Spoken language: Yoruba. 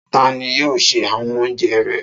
Ta ni yóò se awon oúnjẹ rẹ?